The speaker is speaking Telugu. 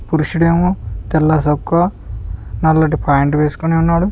పురుషుడేమో తెల్లసోక్కా నల్లటి ప్యాంటు వేసుకుని ఉన్నాడు.